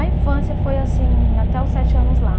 A infância foi assim até os sete anos lá.